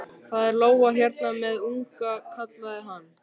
Það er lóa hérna með unga, kallaði hann.